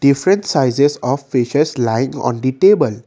different sizes of fishes like on the table.